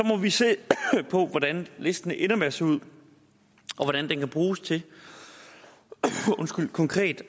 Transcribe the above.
må vi se på hvordan listen ender med at se ud og hvordan den kan bruges til konkret